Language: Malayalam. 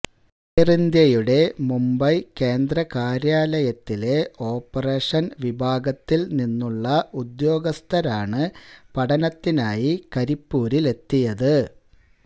എയർ ഇന്ത്യയുടെ മുംബൈ കേന്ദ്ര കാര്യാലയത്തിലെ ഓപ്പറേഷൻ വിഭാഗത്തിൽ നിന്നുള്ള ഉദ്യോഗസ്ഥരാണ് പഠനത്തിനായി കരിപ്പൂരിലെത്തിയത് എത്തിയത്